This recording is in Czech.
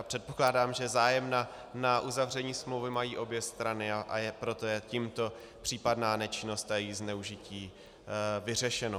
A předpokládám, že zájem na uzavření smlouvy mají obě strany, a proto je tímto případná nečinnost a její zneužití vyřešena.